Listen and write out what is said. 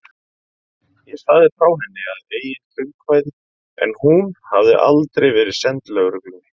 Ég sagði frá henni að eigin frumkvæði en hún hafði aldrei verið send lögreglunni.